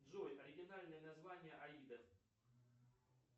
джой оригинальное название аида